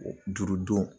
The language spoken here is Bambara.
Juru don